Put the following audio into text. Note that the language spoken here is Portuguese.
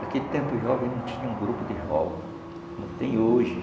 Naquele tempo, os jovens não tinham grupo de jovens, como tem hoje.